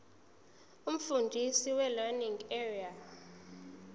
umfundisi welearning area